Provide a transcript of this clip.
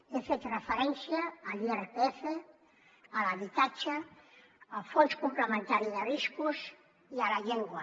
he fet referència a l’irpf a l’habitatge al fons complementari de riscos i a la llengua